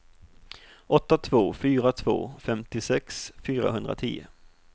åtta två fyra två femtiosex fyrahundratio